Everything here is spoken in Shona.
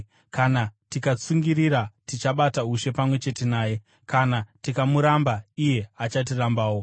kana tikatsungirira, tichabata ushe pamwe chete naye. Kana tikamuramba, iye achatirambawo;